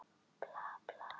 Við gjörsigrum þetta stríð!